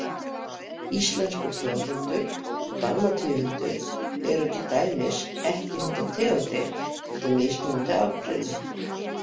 Íslenskur fjárhundur og dalmatíuhundur eru til dæmis ekki hundategundir heldur mismunandi afbrigði.